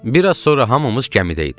Bir az sonra hamımız gəmidə idik.